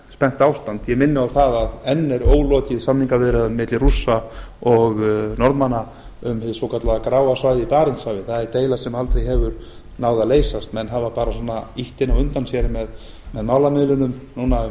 spennt ástand ég minni á að enn er ólokið samningaviðræðum milli rússa og norðmanna um hið svokallaða gráa svæði í barentshafi það er deila sem aldrei hefur náð að leysast menn hafa bara ýtt henni á undan sér með málamiðlunum núna um